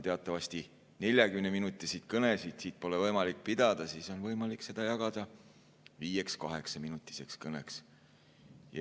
Teatavasti 40‑minutilist kõnet pole võimalik pidada, aga on võimalik see jagada viieks kaheksaminutiseks kõneks.